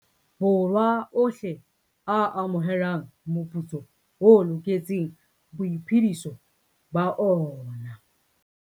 Borwa ohle a amohelang moputso o loketseng boiphediso ba ona.